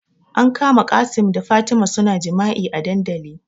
An kama Qassim da Fatima suna jima'i a dandali